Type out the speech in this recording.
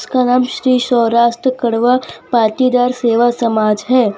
जिसका नाम श्री सौराष्ट्र कड़वा पाटीदार सेवा समाज है।